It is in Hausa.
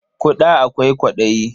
Ƙuda akwai kwaɗayi.